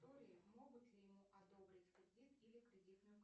могут ли ему одобрить кредит или кредитную